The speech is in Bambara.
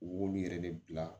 U b'olu yɛrɛ de bila